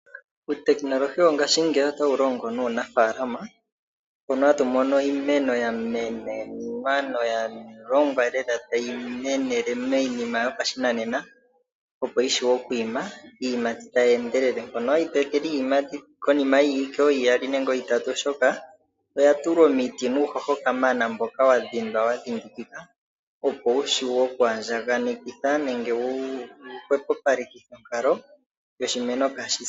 Utekinolohi wongashingeyi otawu longo nuunaafaalama mono hatu mono iimeno ya menenwa noya longwa lela tayi menele miinima yopashinanena, opo yi vulu oku ima iiyimati tayi endelele. Mono hayi tu etele iiyimati konima yiiwike ooyili nooitatu, shoka oya tulwa uuhoho nomiti kamana mbono wa dhindwa wa dhindikika, opo wu shiwe oku andjaganekitha nenge wu okuhwepopalekithe onkalo yoshimeno kaa shi se.